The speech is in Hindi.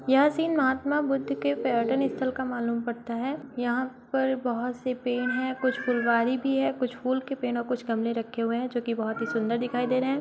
यह सीन महात्मा बुद्ध के पर्यटन स्थल का मालूम पड़ता है। यहाँ पर बहुत से पेड़ है। कुछ फुलवारी भी है। कुछ फूल के पेड़ और कुछ गमले रखे हुए हैं जो कि बहुत ही सुंदर दिखाई दे रहे हैं।